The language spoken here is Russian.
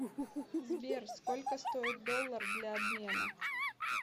сбер сколько стоит доллар для обмена